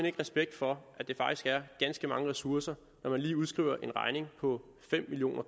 ikke respekt for at det faktisk er ganske mange ressourcer når man lige udskriver en regning på fem million